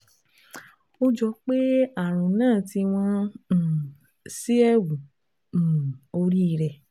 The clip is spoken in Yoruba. Ó jọ pé àrùn náà ti wọ́n um sí ẹ̀wù um orí rẹ